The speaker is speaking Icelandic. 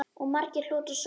Og margur hlotið sóma af.